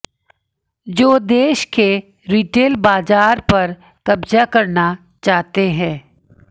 जो देश के रिटेल बाज़ार पर कब्ज़ा करना चाहते है